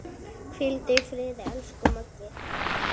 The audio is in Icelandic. Hvíldu í friði, elsku Maggi.